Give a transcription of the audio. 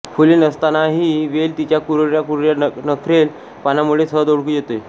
फुले नसतानाही ही वेल तिच्या कुरळ्या कुरळ्या नखरेल पानांमुळे सहज ओळखू येते